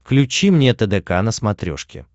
включи мне тдк на смотрешке